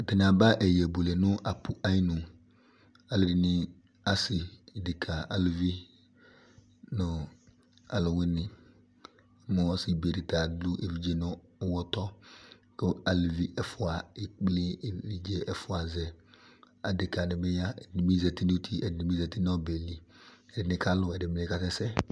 Atani aba ɛyɛbuele nʋ apʋ ayinu Alʋ ɛdini asi, ɖeka alʋvi, nʋ alʋwini nʋ ɔsibe tia ta adʋ evidze nʋ ʋwɔtɔ kʋ aluvi ɛfua ekple evidze ɛfua zɛ, adeka di bi ya ɛdi bi zati n'uti, ɛdi bi zati nʋ ɔbɛ li, ɛdi kalʋ, ɛdi bi kasɛsɛ